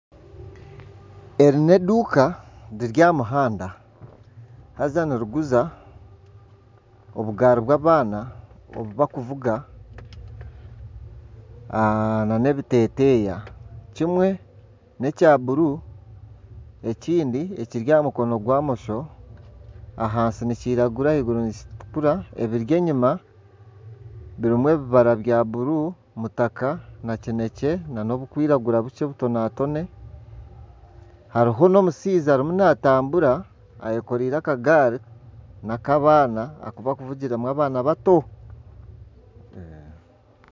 Eri n'eduuka riri aha muhanda haza niriguza obugaari bw'abaana obu bakuvuga nana ebiteeteeya. kimwe n'ekya bururu ekindi ekiri aha mukono gwa bumosho ahansi nikiragura ahaiguru nikitukura. Ebiri enyima birimu ebibara bya bururu, kitaka na kinekye nana oburikwiragura bukye obutonatone. Hariho n'omushaija arimu naatambura ayekoreire akagaari, n'akabaana aku barikuvugiramu abaana bato.